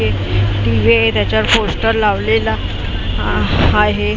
एक टी_व्ही आहे त्याच्यावर पोस्टर लावलेला आहे.